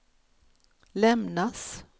lämnas